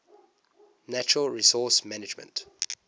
natural resource management